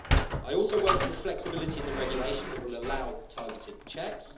I also welcome the flexibility in the regulation that will allow targeted checks.